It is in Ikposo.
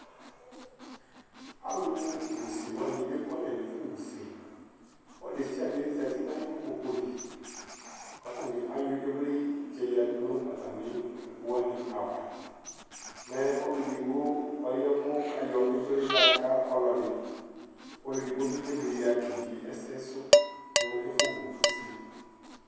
alu wu ʊsé wanɩ ékualɛ ŋʊ ɛƒʊ wʊ ʊsé ɔlu ɖésɩaɖé ozati ŋaƴu oƙpoƙʊ lɩ ƙataŋɩ ayɔ ɩʋlɩ ƴoƴaɖʊ ŋu tamɩ ɩƙpoƙʊ wani aʋa mɛ olʊ éɖɩgbo ɔƴavʊ ƙaƴɔ ɩʋlɩ ƴɔƙa ɔlɔɖɩ ƙɔlɔɖɩ ɓɩ émlɩ ƙéɓɩé ɛsɛ sʊ nu ɛƒʊ wʊ ʊsé